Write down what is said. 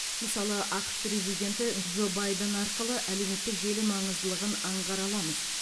мысалы ақш президенті джо байден арқылы әлеуметтік желі маңыздылығын аңғара аламыз